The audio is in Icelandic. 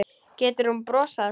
Getur hún brosað?